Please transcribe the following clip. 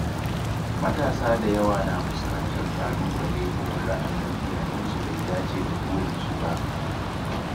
Matasa da yawa na fuskantar ƙalubale idan ra’ayin iyayensu bai dace da burinsu ba.